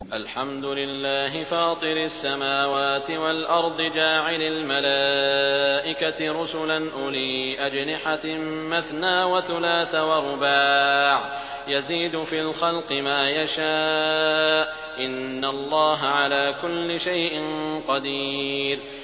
الْحَمْدُ لِلَّهِ فَاطِرِ السَّمَاوَاتِ وَالْأَرْضِ جَاعِلِ الْمَلَائِكَةِ رُسُلًا أُولِي أَجْنِحَةٍ مَّثْنَىٰ وَثُلَاثَ وَرُبَاعَ ۚ يَزِيدُ فِي الْخَلْقِ مَا يَشَاءُ ۚ إِنَّ اللَّهَ عَلَىٰ كُلِّ شَيْءٍ قَدِيرٌ